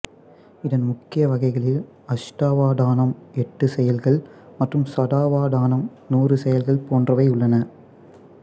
இதன் முக்கிய வகைகளில் அஷ்டாவதானம் எட்டு செயல்கள் மற்றும் சதாவதானம் நூறு செயல்கள் போன்றவை உள்ளன